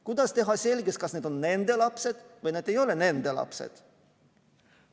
Kuidas teha selgeks, kas nad on nende lapsed või nad ei ole nende lapsed?